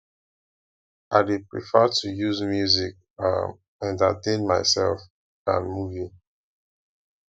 i dey prefer to use music um entertain mysef dan movie